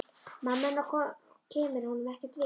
Mamma hennar kemur honum ekkert við.